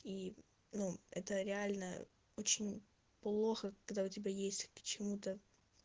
и ну это реально очень плохо когда у тебя есть к чему-то